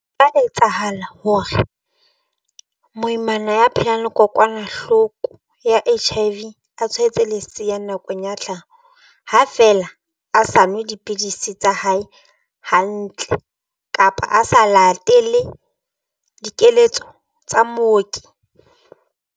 Ka etsahala hore moimana ya phelang le kokwanahloko ya H_I_V a tshwaetse leseya nakong ya tlhaho. Ha feela a sa nwe dipidisi tsa hae hantle kapa a sa latele dikeletso tsa mooki.